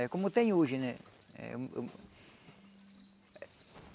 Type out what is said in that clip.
É como tem hoje, né? Eh